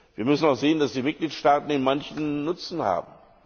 Wir müssen auch sehen, dass die Mitgliedstaaten manchen Nutzen haben.